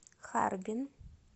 харбин